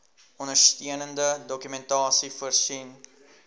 ondersteunende dokumentasie voorsien